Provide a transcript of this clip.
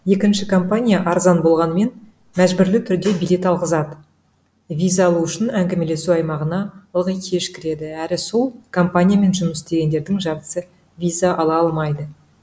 екінші компания арзан болғанымен мәжбүрлі түрде билет алғызады виза алу үшін әңгімелесу аймағына ылғи кеш кіреді әрі сол компаниямен жұмыс істегендердің жартысы виза ала алмайды